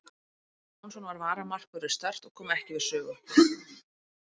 Ingvar Jónsson var varamarkvörður Start og kom ekki við sögu.